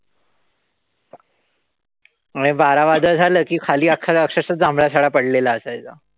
आणि वारा वादळ झालं कि खाली अक्षरशः जांभळा सडा पडलेला असायचा.